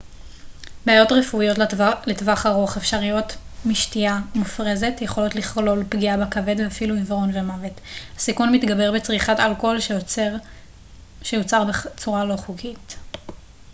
בעיות רפואיות לטווח ארוך אפשריות משתייה מופרזת יכולות לכלול פגיעה בכבד ואפילו עיוורון ומוות הסיכון מתגבר בצריכת אלכוהול שיוצר בצורה לא חוקית